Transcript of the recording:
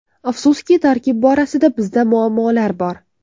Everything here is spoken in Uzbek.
Afsuski, tarkib borasida bizda muammolar bor.